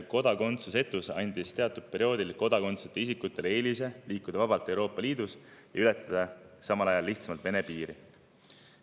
Kodakondsusetus andis teatud perioodil isikutele eelise liikuda vabalt Euroopa Liidus ja ületada samal ajal lihtsamalt Vene piiri.